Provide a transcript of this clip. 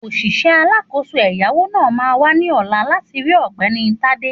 Òṣìṣẹ́ alákòóso ẹ̀yáwó náà máa wá ní ọ̀la láti rí Ọ̀gbẹ́ni Tádé